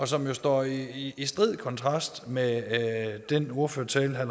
som jo står i i strid kontrast med den ordførertale herre